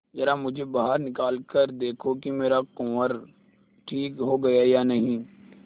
जरा मुझे बाहर निकाल कर देखो कि मेरा कुंवर ठीक हो गया है या नहीं